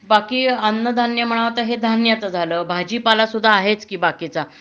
बाकी अन्नधान्य म्हणा तर हे धान्याचं झालं भाजीपाला सुद्धा आहेच कि बाकीचा